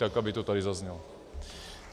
Tak aby to tady zaznělo.